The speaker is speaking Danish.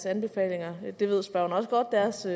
anbefalinger det ved spørgeren også